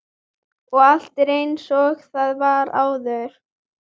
Og allt er einsog það var áður.